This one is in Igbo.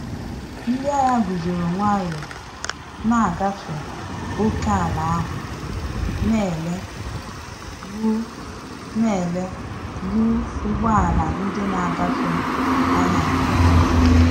Ndị agha guzoro nwayọ na ngafe ókèala ahụ, na ele ru na ele ru ụgbọ ala ndị na-agafe anya nke ọma